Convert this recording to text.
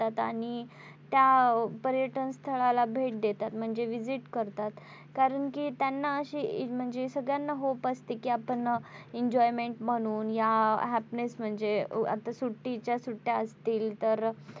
त्या पर्यटन स्थळाला भेट देतात म्हणजे visit करतात कारण कि त्यांना अशी म्हणजे सगळ्यांना Hope असते कि आपण enjoyment म्हणून या happiness म्हणजे आता सुट्टीच्या सुट्ट्या असतील तर,